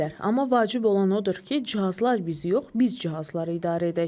Amma vacib olan odur ki, cihazlar biz yox, biz cihazları idarə edək.